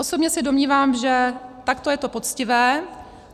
Osobně se domnívám, že takto je to poctivé.